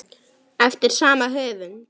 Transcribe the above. eftir sama höfund.